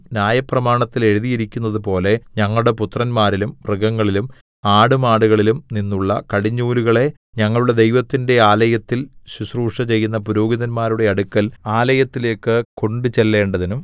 ന്യായപ്രമാണത്തിൽ എഴുതിയിരിക്കുന്നതുപോലെ ഞങ്ങളുടെ പുത്രന്മാരിലും മൃഗങ്ങളിലും ആടുമാടുകളിലും നിന്നുള്ള കടിഞ്ഞൂലുകളെ ഞങ്ങളുടെ ദൈവത്തിന്റെ ആലയത്തിൽ ശുശ്രൂഷചെയ്യുന്ന പുരോഹിതന്മാരുടെ അടുക്കൽ ആലയത്തിലേയ്ക്ക് കൊണ്ട് ചെല്ലേണ്ടതിനും